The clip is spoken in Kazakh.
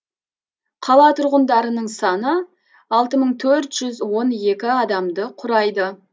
қала тұрғындарының саны алты мың төрт жүз он екі адамды құрайды